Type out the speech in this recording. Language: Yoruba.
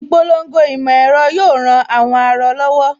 Ìpolongo ìmọ̀ ẹ̀rọ yóò ran àwọn aarọ lọ́wọ́